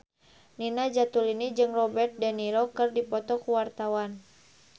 Nina Zatulini jeung Robert de Niro keur dipoto ku wartawan